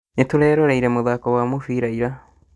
Nĩtũreroreire mũthako wa mũbira ira